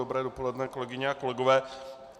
Dobré dopoledne, kolegyně a kolegové.